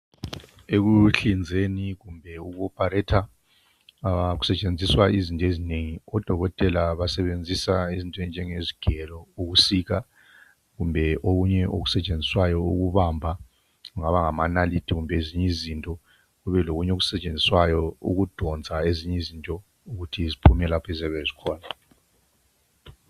Ekuhlinzeni kumbe eku opharetha kusetshenziswa izinto ezinengi, odokotela basebenzisa izinto ezinengi okunjengezigero ukusika kumbe okunye okusetshenziswayo ukubamba kungaba ngamanarithi kumbe ezinye izinto. Kube lokunye okusetshenziswayo ukudonswa ezinye izinto ukuthi ziphume lapho ezabe zikhona.